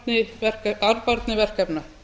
sem auka arðbærni verkefna